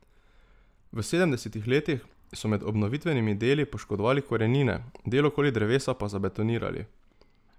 V sedemdesetih letih so med obnovitvenimi deli poškodovali korenine, del okoli drevesa pa zabetonirali.